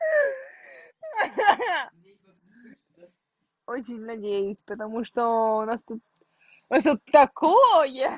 ха-ха очень надеюсь потому что у нас тут всё такое